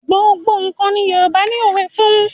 Gbogbo nǹkan ni Yorùbá ni òwe fún.